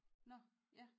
Nåh ja